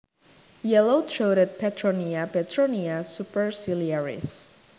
Yellow throated Petronia Petronia superciliaris